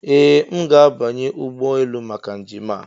Ee! M ga-abanye ụgbọ elu maka njem a.